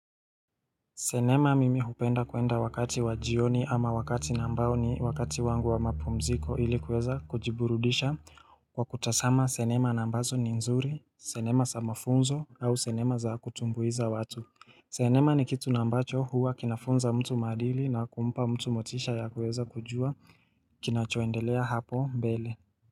Sinema mimi hupenda kuenda wakati wajioni ama wakati na ambao ni wakati wangu wa mapumziko ilikuweza kujiburudisha kwa kutazama sinema na ambazo ni nzuri, sinema za mafunzo au sinema za kutumbuiza watu. Sinema ni kitu na ambacho huwa kinafunza mtu maadili na kumpa mtu motisha ya kuweza kujua kinacho endelea hapo mbele.